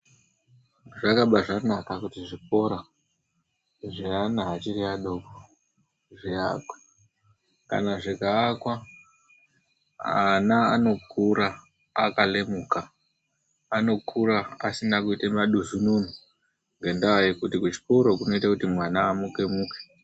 Zvakabaanaka kuti zvikora zveana achiri adoko zviakwe. Kana zvikaakwa, ana anokura akalemuka. Anokura asina kuite maduzununu. Ngendaa yekuti kuchikora kunoita kuti mwana amuke muke.